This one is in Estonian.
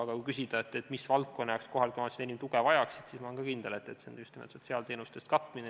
Aga kui küsida, mis valdkonnale kohalikud omavalitsused enim tuge vajaksid, siis ma olen küll kindel, et see on just nimelt sotsiaalteenuste katmine.